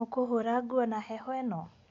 ũkũhũra nguo na heho ĩno?